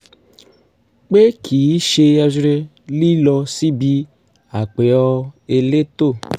pé kì í ṣe lílọ síbi àpẹ̀ọ elétò